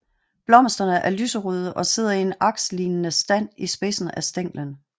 Blomsterne er lyserøde og sidder i en akslignende stand i spidsen af stænglen